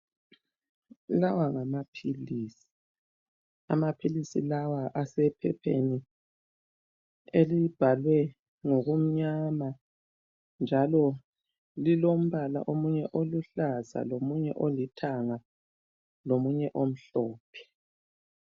Lawa ngamaphilisi. Amaphilisi lawa asephepheni elibhalwe ngokumnyama njalo lilombala omunye oluhlaza lomunye olithanga lomunye omhlophe.